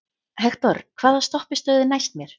Hektor, hvaða stoppistöð er næst mér?